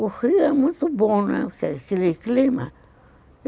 O Rio é muito bom, aquele clima.